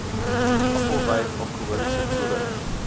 appelwyn alkoholiese koelers